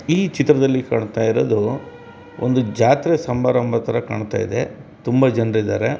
ಈ ಚಿತ್ರದಲ್ಲಿ ಕಾಣತಾ ಇರೋದು ಒಂದು ಜಾತ್ರೆ ಸಂಭಾರಂಭ ಥರ ಕಣತಾ ಇದೆ ತುಂಬ ಜನರಿದ್ದಾರೆ .